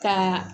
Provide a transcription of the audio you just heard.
Ka